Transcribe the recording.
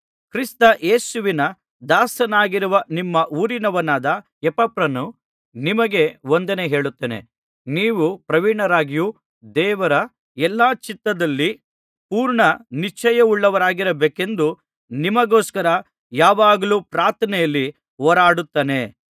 ಕ್ರಿಸ್ತಯೇಸುವಿನ ದಾಸನಾಗಿರುವ ನಿಮ್ಮ ಊರಿನವನಾದ ಎಪಫ್ರನು ನಿಮಗೆ ವಂದನೆ ಹೇಳುತ್ತಾನೆ ನೀವು ಪ್ರವೀಣರಾಗಿಯೂ ದೇವರ ಎಲ್ಲಾ ಚಿತ್ತದಲ್ಲಿ ಪೂರ್ಣ ನಿಶ್ಚಯವುಳ್ಳವರಾಗಿರಬೇಕೆಂದು ನಿಮಗೋಸ್ಕರ ಯಾವಾಗಲೂ ಪ್ರಾರ್ಥನೆಯಲ್ಲಿ ಹೋರಾಡುತ್ತಾನೆ